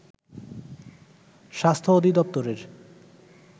স্বাস্থ্য অধিদপ্তরের